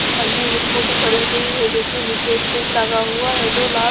सामने एक स्कूटी खड़ी हुई है जिसमें नीचे स्टैंड लगा हुआ है जो लाल--